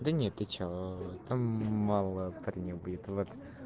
да нет ты что там мало парень будет вот